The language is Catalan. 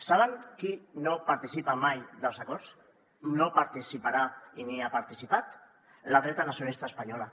saben qui no participa mai dels acords no hi participarà ni hi ha participat la dreta nacionalista espanyola